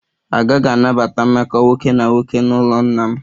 A gaghị anabata mmekọ nwoke na nwoke n'ụlọ nna m